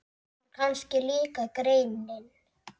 En kannski líka genin.